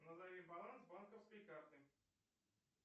назови баланс банковской карты